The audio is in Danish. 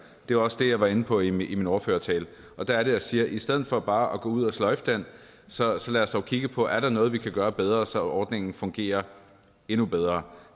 det var også det jeg var inde på i min ordførertale der er det jeg siger i stedet for bare at gå ud og sløjfe den så så lad os dog kigge på er noget vi kan gøre bedre så ordningen fungerer endnu bedre